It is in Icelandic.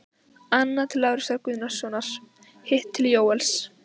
Annað til Lárusar Gunnarssonar, hitt til Jóels.